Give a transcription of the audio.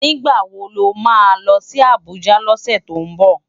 Nigbá wó má lòsi Abuja lòsè tó nbò?